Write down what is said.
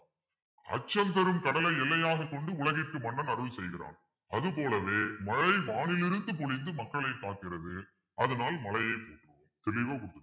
அச்சம் பெரும் கடலை எல்லையாகக் கொண்டு உலகிற்கு மன்னன் அருள் செய்கிறான் அதுபோலவே மழை வானிலிருந்து பொழிந்து மக்களை காக்கிறது அதனால் மழையை